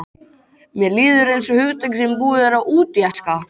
Mér líður einsog hugtaki sem búið er að útjaska.